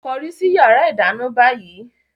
Kọrí sí yàrá ìdáná báyìí!